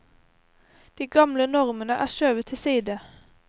De gamle normene er skjøvet til side.